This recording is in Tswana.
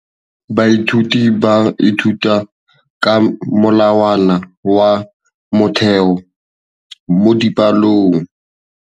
Baithuti ba ithuta ka molawana wa motheo mo dipalong.